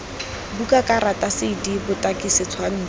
buka karata cd botaki setshwantsho